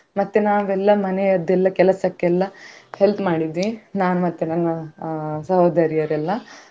ಮತ್ತೆ ನಾವೆಲ್ಲಾ ಮನೆಯದ್ದೆಲ್ಲಾ ಕೆಲ್ಸಕ್ಕೆಲ್ಲ help ಮಾಡಿದ್ವಿ ನಾನು ಮತ್ತೆ ನನ್ನ ಸಹೋದರಿಯರೆಲ್ಲ.